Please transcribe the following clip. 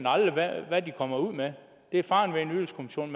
aldrig hvad de kommer ud med det er faren med en ydelseskommission